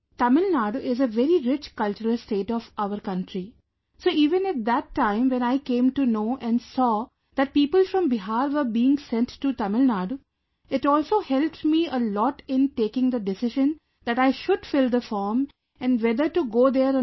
Tamil Nadu is a very rich cultural state of our country, so even at that time when I came to know and saw that people from Bihar were being sent to Tamil Nadu, it also helped me a lot in taking the decision that I should fill the form and whether to go there or not